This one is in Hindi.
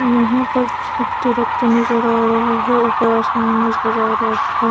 यहाँ पर नजर आ रहा है ऊपर आसमान नजर आ रहा है।